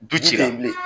Du cilen bilen